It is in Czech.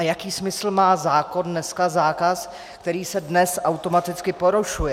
A jaký smysl má zákon dneska, zákaz, který se dnes automaticky porušuje?